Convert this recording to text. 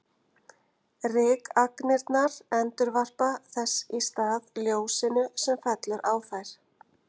Rykagnirnar endurvarpa þess í stað ljósinu sem fellur á þær.